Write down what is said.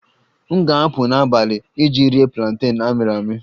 M ga-apụ n'abalị iji rie planten amịrị amị